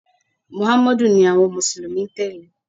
Mùháméèdì ni àwon mùsùlùmí n tèlé